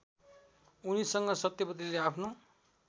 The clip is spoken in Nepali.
उनीसँग सत्यवतीले आफ्नो